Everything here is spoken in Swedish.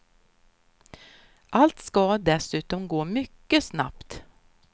Allt ska dessutom gå mycket snabbt.